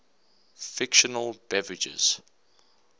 fictional beverages